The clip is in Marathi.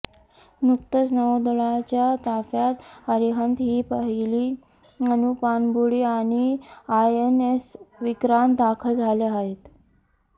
नुकतच नौदलाच्या ताफ्यात अरिहंत ही पहिली अणू पाणबुडी आणि आयएनएस विक्रांत दाखल झाल्या आहेत